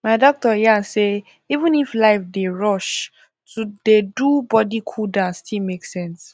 my doctor yarn say even if life dey rush to dey do body cooldown still make sense